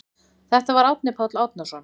Þetta var Árni Páll Árnason.